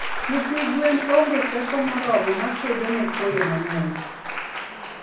Nyithi gwen onge teko moromo makedone koyo mangeny